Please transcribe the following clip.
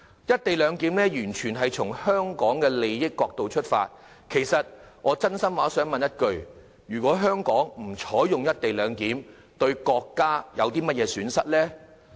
"一地兩檢"安排完全從香港利益的角度出發，我真心想問一句，如果香港不實施"一地兩檢"，對國家有何損失？